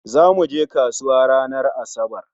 Zamu je kasuwa ranar Asabar